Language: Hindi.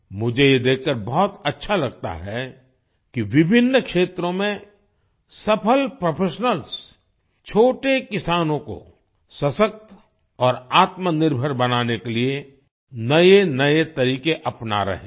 मुझे ये देखकर बहुत अच्छा लगता है कि विभिन्न क्षेत्रों में सफल प्रोफेशनल्स छोटे किसानों को सशक्त और आत्मनिर्भर बनाने के लिए नएनए तरीक़े अपना रहे हैं